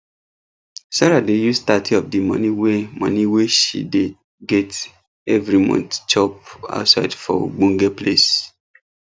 sarah dey use thirty of di money wey money wey shey dey get everi month chop outside for ogbonge place